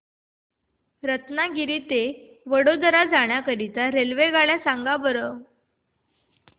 रत्नागिरी ते वडोदरा जाण्या करीता रेल्वेगाड्या सांगा बरं